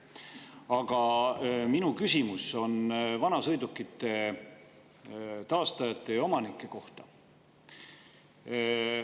Aga minu küsimus on vanasõidukite taastajate ja omanike kohta.